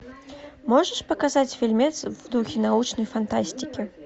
можешь показать фильмец в духе научной фантастики